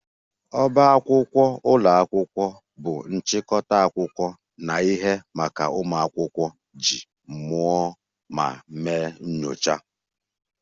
Ọbá akwụkwọ ụlọ akwụkwọ bụ nchịkọta akwụkwọ na ihe maka ụmụ akwụkwọ iji mụọ ma mee nyocha